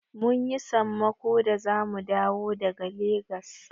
Mun yi sammako da zamu dawo daga Legas.